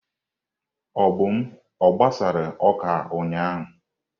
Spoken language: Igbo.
Obum a gbasara oka ụnyahụ?